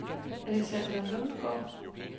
Alexander Lundsgaard